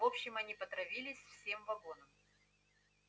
в общем они потравились всем вагоном